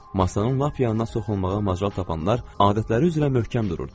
Masanın lap yanına soxulmağa macal tapanlar adətləri üzrə möhkəm dururdular.